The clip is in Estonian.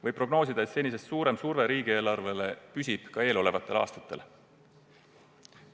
Võib prognoosida, et senisest suurem surve riigieelarvele püsib ka eelolevatel aastatel.